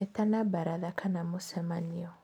ĩtana baratha kana mĩcemanio.